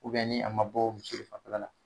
ni a ma bɔ muso de fanfɛla la